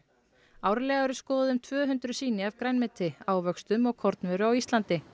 árlega eru skoðuð um tvö hundruð sýni af grænmeti ávöxtum og kornvöru á Íslandi